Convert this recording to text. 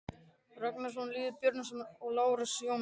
Ragnarsson, Lýður Björnsson og Lárus Jónsson.